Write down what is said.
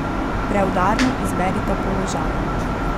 Preudarno izberita položaj.